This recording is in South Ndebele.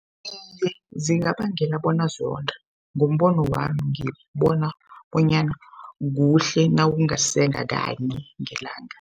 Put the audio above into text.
Iye, zingabangela bona zonde ngombono wami ngibona bonyana kuhle nawungasenga kanye ngelanga.